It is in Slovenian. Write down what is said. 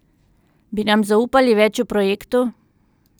Bi nam zaupali več o projektu?